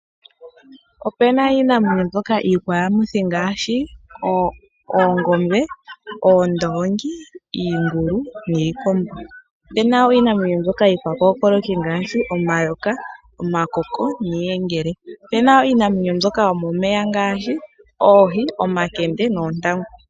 Opena iinamwenyo mbyoka iikwayamuthi ngaashi oongombe, oondongi, iingulu niikombo. Opena wo iinamwenyo mbyoka iikwakookoloki ngaashi omayoka, omakoko, niiyengele. Opena wo iinamwenyo mbyoka yo momeya ngaashi oohi, omakende noontangu.